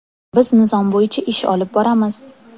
Biz nizom bo‘yicha ish olib boramiz.